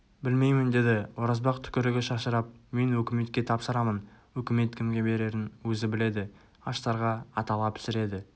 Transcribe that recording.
білмеймін деді оразбақ түкірігі шашырап мен өкіметке тапсырамын өкімет кімге берерін өз біледі аштарға атала пісіреді